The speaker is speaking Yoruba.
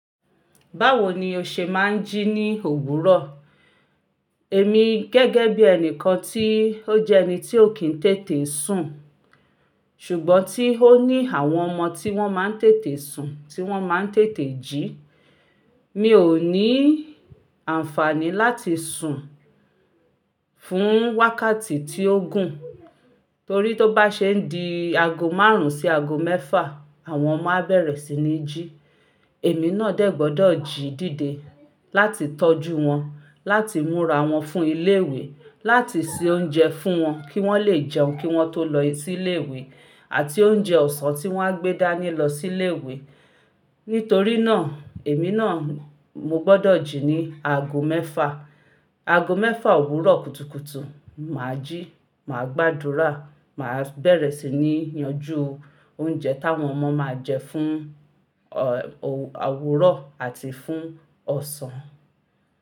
Báwo ni o ṣe máa ń jí ní òwúrọ̀? Èmi gẹ́gẹ́ bí ẹnìkan tí ó jẹ́ ẹni tí ó kì ń tètè sùn, ṣùgbọ́n tí ó ní àwọn ọmọ tí wọ́n máa ń tètè sun, tí wọ́n máa ń tètè jí. Mi ò ní àǹfààní láti sùn fún wákàtí tí ó gùn, torí tó bá ṣe ń di ago márùn-ún sí ago mẹ́fà, àwọn ọmọ á bẹ̀rẹ̀ sí ní jí. Èmi náà dẹ́ gbọdọ̀ jí dìde láti tọ́jú wọn, láti múra wọn fún ilé ìwé, láti se oúnjẹ fún wọn kí wọ́n lè jẹun kí wọ́n tó lọ sí ilé ìwé, àti oúnjẹ ọ̀sán tí wọ́n á gbé dání lọ sí ilé ìwé. Nítorí náà, èmi náà mo gbọdọ̀ jí ní ago mẹ́fà. Ago mẹ́fà òwúrọ̀ kùtùkùtù, mà á jí, mà á gbàdúrà, mà á bẹ̀rẹ̀ sí ní yanjú oúnjẹ táwọn ọmọ máa jẹ fún, ọ̀, owu, òwúrọ̀ àti fún ọ̀sán.